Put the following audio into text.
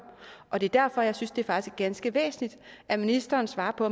og det er derfor jeg synes det faktisk er ganske væsentligt at ministeren svarer på